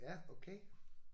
Ja okay